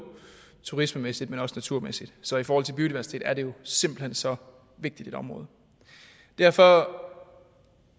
turismemæssigt men også naturmæssigt så i forhold til biodiversitet er det jo simpelt hen så vigtigt et område derfor